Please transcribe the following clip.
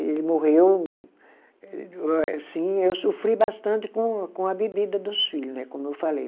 Ele morreu eh, sim, eu sofri bastante com a bebida dos filho, né, como eu falei.